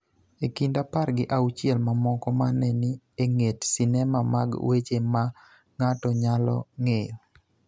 e kind apar gi auchiel mamoko ma ne ni e ng�et sinema mag weche ma ng�ato nyalo ng�eyo.